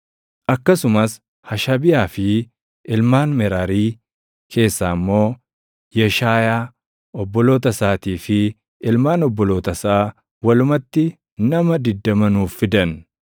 akkasumas Hashabiyaa fi ilmaan Meraarii keessaa immoo Yeshaayaa, obboloota isaatii fi ilmaan obboloota isaa walumatti nama 20 nuuf fidan.